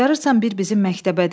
Bacarırsan bir bizim məktəbə də.